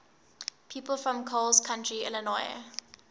people from coles county illinois